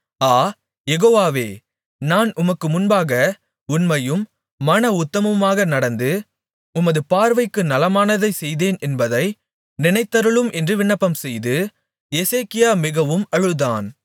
ஆ யெகோவாவே நான் உமக்கு முன்பாக உண்மையும் மன உத்தமமுமாக நடந்து உமது பார்வைக்கு நலமானதைச் செய்தேன் என்பதை நினைத்தருளும் என்று விண்ணப்பம்செய்து எசேக்கியா மிகவும் அழுதான்